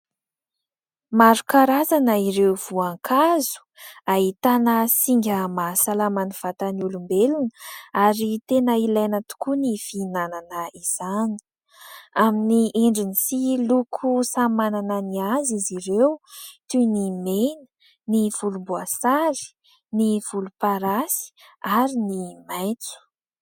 Maro karazana ireo voankazo ahitana singa mahasalama ny vatan'ny olombelona ary tena ilaina tokoa ny fihinanana izany. Amin'ny endriny sy loko samy manana ny azy izy ireo toy ny mena, ny volomboasary, ny volomparasy ary ny maitso.